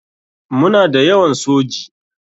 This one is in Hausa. Muna da yawan soji.